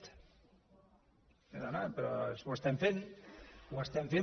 sí dona però és que ho estem fent ho estem fent